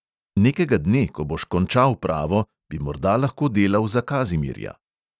Nekega dne, ko boš končal pravo, bi morda lahko delal za kazimirja.